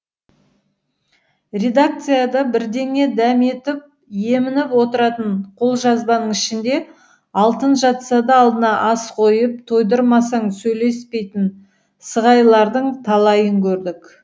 редакцияда бірдеңе дәметіп емініп отыратын қолжазбаның ішінде алтын жатса да алдына ас қойып тойдырмасаң сөйлеспейтін сығайлардың талайын көрдік